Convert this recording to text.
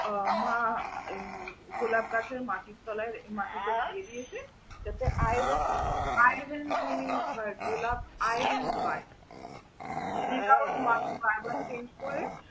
উহ মা গোলাপ গাছের মাটির তলায় মাটিতে দিয়ে দিয়েছে, এতে iron জমিয়ে হয় গোলাপ iron পায়। এ কারনে মাটি বার বার change করে।